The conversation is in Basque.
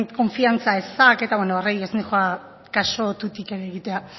konfiantza ezak eta horri ez noa kasu tutik ere egitea